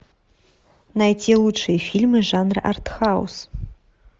найти лучшие фильмы жанра артхаус